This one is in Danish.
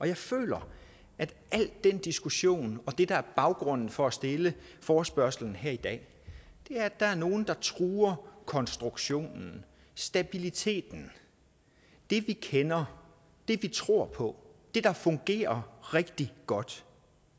jeg føler at al den diskussion og det der er baggrunden for at stille forespørgslen her i dag er at der er nogle der truer konstruktionen stabiliteten det vi kender det vi tror på det der fungerer rigtig godt